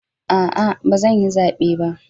A'a, ba zan yi zabe ba.